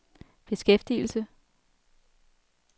beskæftigelse